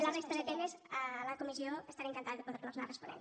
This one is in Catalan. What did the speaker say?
la resta de temes a la comissió estaré encantada de poder los anar responent